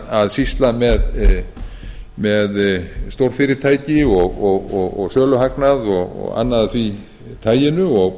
að sýsla með stórfyrirtækin og söluhagnað og annað af því taginu og